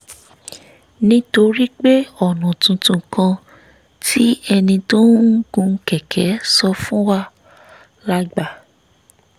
nítorí pé ọ̀nà tuntun kan tí ẹni tó ń gun kẹ̀kẹ́ sọ fún wa la gbà